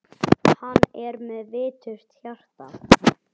Hann er með viturt hjarta.